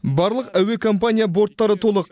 барлық әуекомпания борттары толық